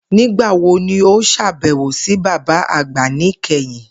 Nigbawo ni o ṣabẹwo si baba agba nikẹhin?